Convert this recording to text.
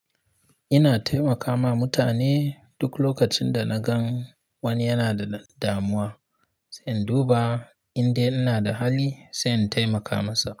Ina taimakawma mutane duk lokacin da na gan wani yana da damuwa, sai in duba inda ina da hali sai in taimaka masa.